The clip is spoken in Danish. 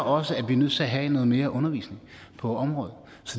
også at vi er nødt til at have noget mere undervisning på området